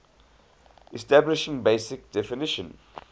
establishing basic definition